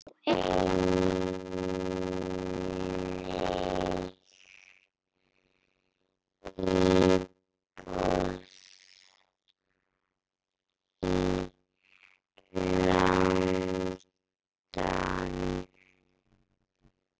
Á einnig íbúð í London.